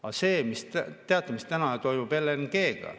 Aga see, teate, mis täna toimub LNG-ga?